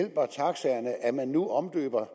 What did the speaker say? at at man nu omdøber